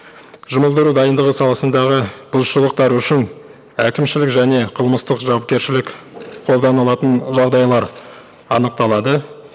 жұмылдыру дайындығы саласындағы бұзушылықтар үшін әкімшілік және қылмыстық жауапкершілік қолданылатын жағдайлар анықталады